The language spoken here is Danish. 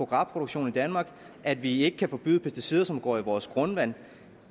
gras produktion i danmark og at vi ikke kan forbyde pesticider som går i vores grundvand